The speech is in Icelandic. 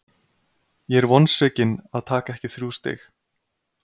Ég er vonsvikinn að taka ekki þrjú stig.